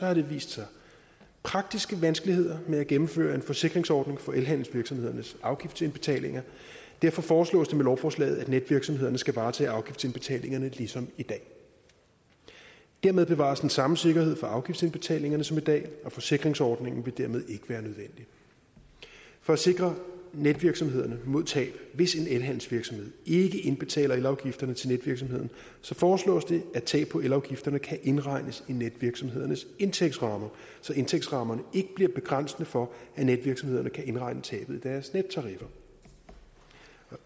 har der vist sig praktiske vanskeligheder med at gennemføre en forsikringsordning for elhandelsvirksomhedernes afgiftsindbetalinger derfor foreslås det med lovforslaget at netvirksomhederne skal varetage afgiftsindbetalingerne ligesom i dag dermed bevares den samme sikkerhed for afgiftsindbetalingerne som i dag og forsikringsordningen vil dermed ikke være nødvendig for at sikre netvirksomhederne mod tab hvis en elhandelsvirksomhed ikke indbetaler elafgifterne til netvirksomheden foreslås det at tab på elafgifterne kan indregnes i netvirksomhedernes indtægtsrammer så indtægtsrammerne ikke bliver begrænsende for at netvirksomhederne kan indregne tabet i deres nettariffer